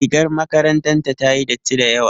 Rigar makarantar ta yayi datti dayawa.